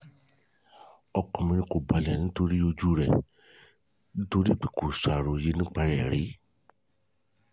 ọkàn mi kò balẹ̀ nípa ojú rẹ̀ torí pe kò ṣàròyé nípa rẹ̀ rí